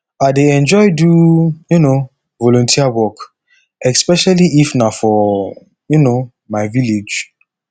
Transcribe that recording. i dey enjoy do um volunteer work especially if na for um my village